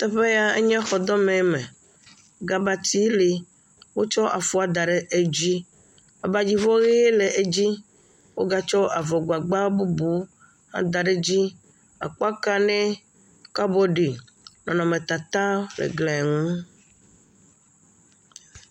Exɔ yɛ, enye xɔdɔmeme. Gabati le, wotsɔ afuɛ da ɖe edzi. Wotsɔ abadzivɔ ʋee da ɖe edzi. Wogatsɔ avɔgbagba bubu hã da ɖe edzi. Akpakanɛ, kabɔɖi, nɔnɔmetata le gliɛ ŋu.